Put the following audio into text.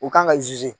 U kan ka